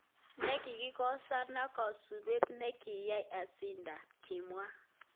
Nekikikosoan ko kasupet nekiyai asindan",.mimwa